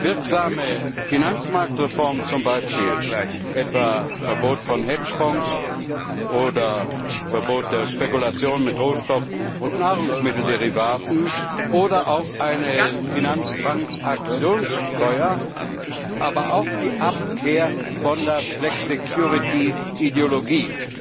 Wirksame Finanzmarktreformen zum Beispiel, etwa ein Verbot von Hedgefonds oder ein Verbot der Spekulation mit Rohstoff und Nahrungsmittelderivaten oder auch eine Finanztransaktionssteuer, aber auch die Abkehr von der Flexicurity Ideologie